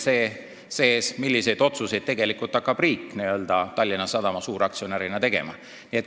See on see, milliseid otsuseid hakkab riik Tallinna Sadama suuraktsionärina tegema.